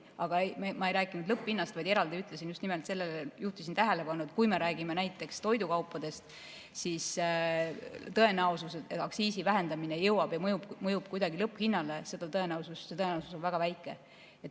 Aga ma ei rääkinud lõpphinnast, vaid eraldi ütlesin, just nimelt sellele juhtisin tähelepanu, et kui me räägime näiteks toidukaupadest, siis tõenäosus, et aktsiisi vähendamine jõuab või mõjub kuidagi lõpphinnale, on väga väike.